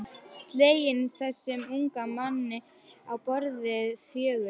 Slegin þessum unga manni á borði fjögur.